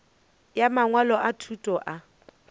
ya mangwalo a thuto a